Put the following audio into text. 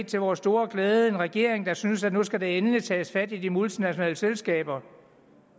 til vores store glæde set en regering der synes at nu skal der endelig tages fat i de multinationale selskaber